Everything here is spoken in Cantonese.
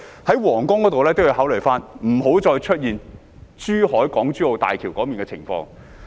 在皇崗口岸也要考慮，不要再出現港珠澳大橋珠海段的情況。